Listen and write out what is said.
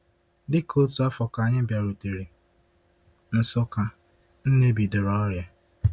Dị ka otu afọ ka anyị bịarutere Nsukka, Nne bidoro ọrịa.